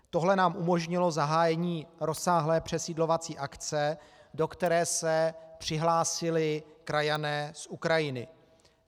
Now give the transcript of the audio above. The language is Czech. Tohle nám umožnilo zahájení rozsáhlé přesídlovací akce, do které se přihlásili krajané z Ukrajiny.